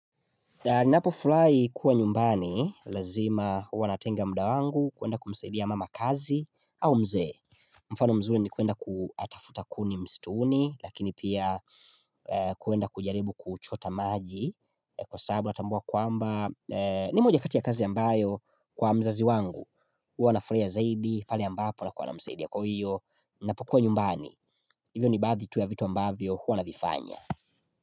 Ninapofulahi kuwa nyumbani, lazima uwa natenga mda wangu, kuenda kumsaidia mama kazi au mze. Mfano mzuli ni kuenda kutafuta kuni mstuni, lakini pia kuenda kujaribu kuchota maji. Kwa sababu na tambua kwamba, ni moja kati ya kazi ambayo kwa mzazi wangu. Uwa nafurahia zaidi, pale ambapo na kuwa namsaidia kwa hiyo, ninapokuwa nyumbani. Hivyo ni baadhi tu ya vitu ambavyo, huwa navifanya.